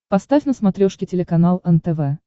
поставь на смотрешке телеканал нтв